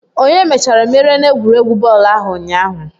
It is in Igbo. Onye mechara merie n'egwuregwu bọọlụ ahụ ụnyaahụ?